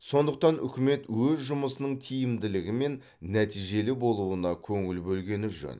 сондықтан үкімет өз жұмысының тиімділігі мен нәтижелі болуына көңіл бөлгені жөн